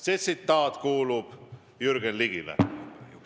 See tsitaat kuulub Jürgen Ligile.